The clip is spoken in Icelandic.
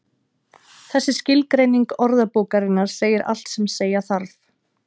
Þessi skilgreining orðabókarinnar segir allt sem segja þarf.